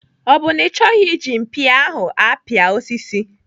Ọ bụ na ọ chọghị iji mpia ahụ apia osisi?